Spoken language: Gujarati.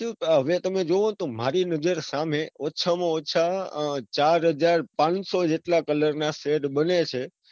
આગળ જતા હવે તમે જોવો તો મારી નજર સામે ઓછા માં ઓછા ચારહાજરપાંચસો જેવા colour ના shade બને છે.